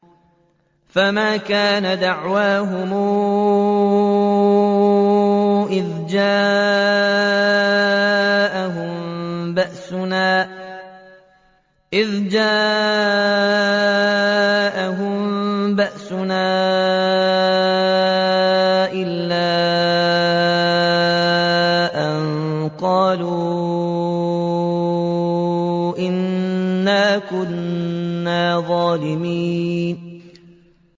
فَمَا كَانَ دَعْوَاهُمْ إِذْ جَاءَهُم بَأْسُنَا إِلَّا أَن قَالُوا إِنَّا كُنَّا ظَالِمِينَ